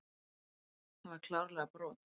Það var klárlega brot.